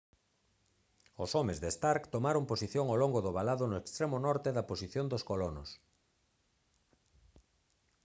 os homes de stark tomaron posición ao longo do valado no extremo norte da posición dos colonos